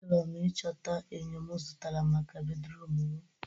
Achọrọ m ịchọta enyo mụ zụtara maka bedruum mụ